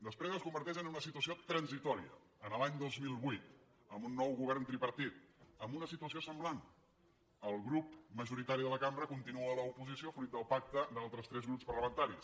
després es converteix en una situació transitòria l’any dos mil vuit amb un nou govern tripartit amb una situació semblant el grup majoritari de la cambra continua a l’oposició fruit del pacte d’altres tres grups parlamentaris